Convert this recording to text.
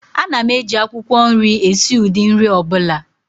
Ana m eji akwukwo nri esi ụdị nri ọ bụla